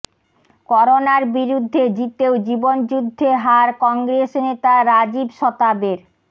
করোনার বিরুদ্ধে জিতেও জীবনযুদ্ধে হার কংগ্রেস নেতা রাজীব সতাবের